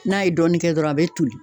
N'a ye dɔɔnin kɛ dɔrɔn a bɛ toli